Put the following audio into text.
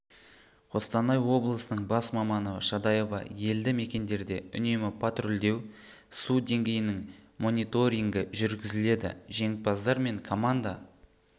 қостанай облысының бас маманы шадаева елді мекендерде үнемі патрульдеу су деңгейінің мониторингі жүргізіледі жеңімпаздар мен команда